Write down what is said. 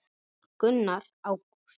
Gunnar: Ágúst?